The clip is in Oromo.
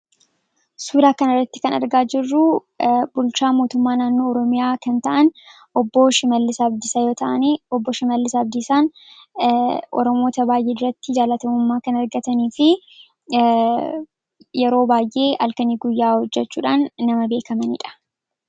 Suuraa kanarratti kan argaa jirru bulchaa mootummaa naannoo oromiyaa kan ta'an, obbo Shimallis Abdiisaa yoo ta'an, obbo Shimallis Abdiisaan oromoota baayyee biratti jaalatamummaa kan argataniifi yeroo baayyee halkaniif guyyaa hojjachuudhaan nama beekkamanidha.